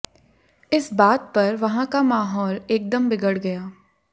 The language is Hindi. इस बात पर वहां का माहौल एकदम बिगड़ गया